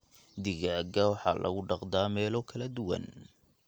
Digaagga waxaa lagu dhaqdaa meelo kala duwan.